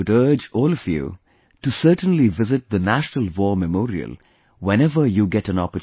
I would urge all of you to certainly visit the 'National War Memorial' whenever you get an opportunity